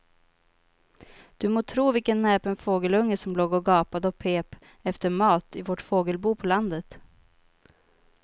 Du må tro vilken näpen fågelunge som låg och gapade och pep efter mat i vårt fågelbo på landet.